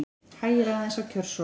Hægir aðeins á kjörsókn